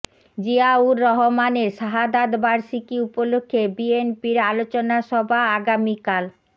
জিয়াউর রহমানের শাহাদাত বার্ষিকী উপলক্ষে বিএনপির আলোচনা সভা আগামীকাল